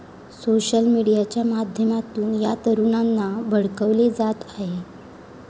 Social मीडियाच्या माध्यमातून या तरुणांना भडकवले जात आहे.